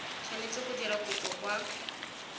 tshwanetse go dira kopo kwa